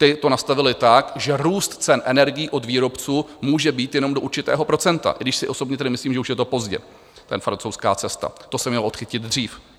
Ti to nastavili tak, že růst cen energií od výrobců může být jenom do určitého procenta, i když si osobně tedy myslím, že už je to pozdě, ta francouzská cesta, to se mělo odchytit dřív.